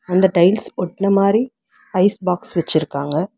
அந்த டைல்ஸ் ஒட்ன மாறி ஐஸ் பாக்ஸ் வெச்சிருக்காங்க.